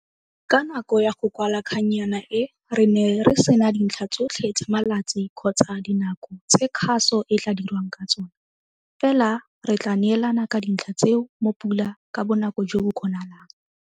Ka nako ya go kwala kgannyana e, re ne re sena dintlha tsotlhe tsa malatsi kgotsa dinako tse kgaso e tlaa dirwang ka tsona, fela re tlaa neelana ka dintlha tseo mo Pula ka bonako jo bo kgonagalang.